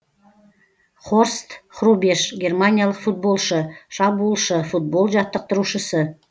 хорст хрубеш германиялық футболшы шабуылшы футбол жаттықтырушысы